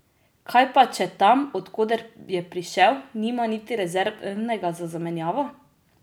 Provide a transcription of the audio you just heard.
Kaj pa, če tam, od koder je prišel, nima niti rezervnega za zamenjavo?